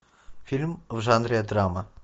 фильм в жанре драма